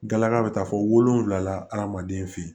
Galaga bɛ taa fɔ wolonwula la adamaden fe yen